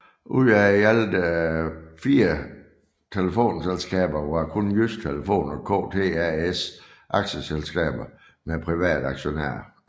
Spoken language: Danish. Ud af de i alt fire telefonselskaber var kun Jydsk Telefon og KTAS aktieselskaber med private aktionærer